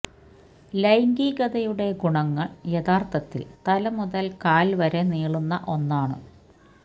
ലൈംഗികതയുടെ ഗുണങ്ങൾ യഥാർത്ഥത്തിൽ തല മുതൽ കാൽ വരെ നീളുന്ന ഒന്നാണ്